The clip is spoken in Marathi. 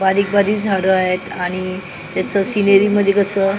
बारीक बारीक झाडं आहेत आणि त्याचं सिनरी मध्ये कसं --